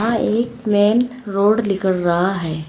यह एक main road निकल रहा है।